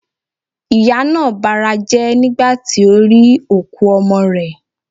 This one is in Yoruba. Ìyá naa barajé̩ nigba ti o ri òkú ọmọ rè